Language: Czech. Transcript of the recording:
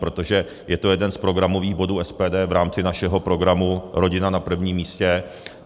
Protože je to jeden z programových bodů SPD v rámci našeho programu Rodina na prvním místě.